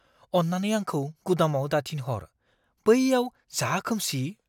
अन्नानै आंखौ गुदामाव दाथिनहर। बैयाव जा खोमसि।